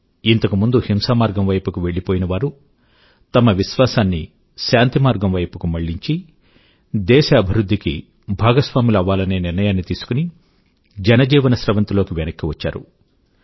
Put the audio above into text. ఇంతకు ముందు హింసామార్గం వైపుకి వెళ్ళిపోయినవారు తమ విశ్వాసాన్ని శాంతిమార్గం వైపుకి మళ్ళించి దేశ అభివృధ్ధి కి భాగస్వాములు అవ్వాలనే నిర్ణయాన్ని తీసుకుని జనజీవన స్రవంతి లోకి వెనక్కు వచ్చారు